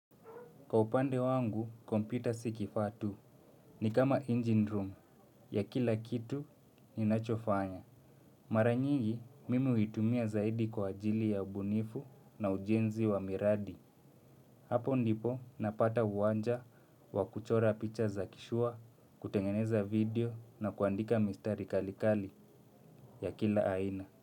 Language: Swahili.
Kwa upande wangu, kompyuta si kifaa tu. Ni kama engine room ya kila kitu ninachofanya. Mara nyingi mimi huitumia zaidi kwa ajili ya ubunifu na ujenzi wa miradi. Hapo ndipo napata uwanja wa kuchora picha za kishua, kutengeneza video na kuandika mistari kalikali ya kila aina.